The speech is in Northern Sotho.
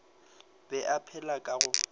be a phela ka go